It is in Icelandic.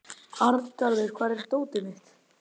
Arngarður, hvar er dótið mitt?